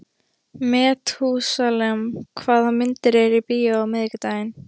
Methúsalem, hvaða myndir eru í bíó á miðvikudaginn?